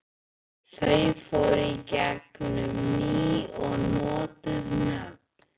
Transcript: Þau fóru í gegn um ný og notuð nöfn.